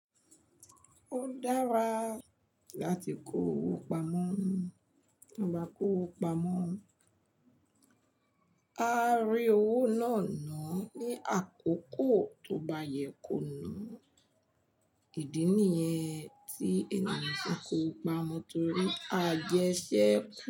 Ó dára láti kó owó pamọ́. Bí a bá kó owó pamọ́, a rí owó náà náà ní àkókò tó bá yẹ kó nu. Ìdí nìyẹn tí ènìyàn ti ń kó owó pamọ́ torí a jẹ iṣẹ́ kù.